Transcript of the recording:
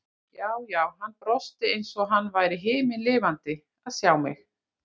Já, já, hann brosti eins og hann væri himinlifandi að sjá mig!